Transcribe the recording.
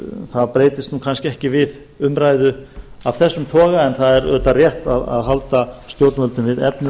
það breytist kannski ekki við umræðu af þessum toga en rétt er að halda stjórnvöldum við efnið það